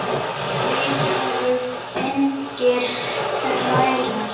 Við erum engir þrælar.